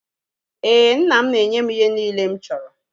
Éè, nna m na-enye m ihe niile mụ chọrọ